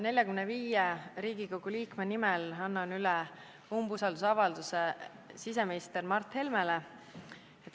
45 Riigikogu liikme nimel annan üle umbusaldusavalduse siseminister Mart Helmele.